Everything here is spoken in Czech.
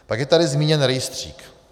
Pak je tady zmíněn rejstřík.